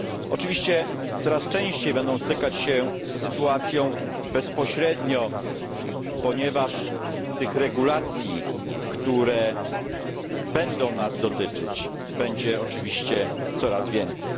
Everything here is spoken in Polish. Oczywiście coraz częściej będą stykać się z sytuacją bezpośrednio, ponieważ tych regulacji, które będą nas dotyczyć, będzie oczywiście coraz więcej.